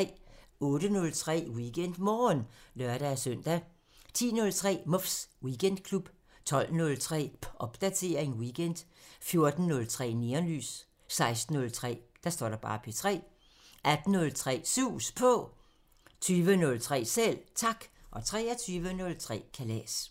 08:03: WeekendMorgen (lør-søn) 10:03: Muffs Weekendklub 12:03: Popdatering weekend 14:03: Neonlys 16:03: P3 18:03: Sus På 20:03: Selv Tak 23:03: Kalas